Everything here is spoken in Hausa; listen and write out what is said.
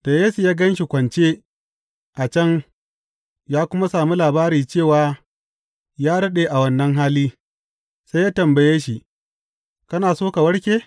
Da Yesu ya gan shi kwance a can ya kuma sami labari cewa ya daɗe a wannan hali, sai ya tambaye shi, Kana so ka warke?